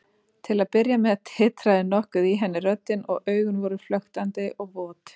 Til að byrja með titraði nokkuð í henni röddin og augun voru flöktandi og vot.